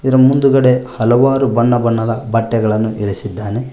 ಇರ ಮುಂದುಗಡೆ ಹಲವಾರು ಬಣ್ಣ ಬಣ್ಣದ ಬಟ್ಟೆಗಳನ್ನು ಇರಸಿದ್ದಾನೆ.